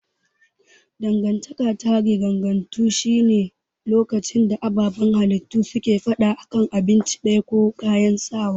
Dangantaka ta riganganto shi ne lokacin da ababan halittu suke fada a kan abinci daya, waje ko kayayyaki.